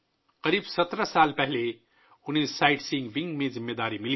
تقریباً 17 سال قبل انہیں سائیٹ سینگ ونگ میں ذمہ داری دی گئی تھی